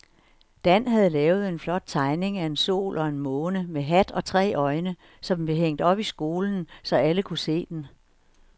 Dan havde lavet en flot tegning af en sol og en måne med hat og tre øjne, som blev hængt op i skolen, så alle kunne se den.